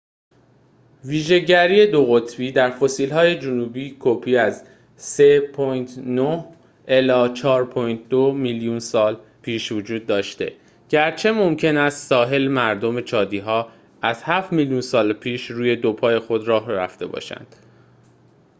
ویژه‌گری دوقطبی در فسیل‌های جنوبی‌کپی از 4.2-3.9 میلیون سال پیش وجود داشته، گرچه ممکن است ساحل‌مردم چادی‌ها از هفت میلیون سال پیش روی دو پای خود راه رفته باشند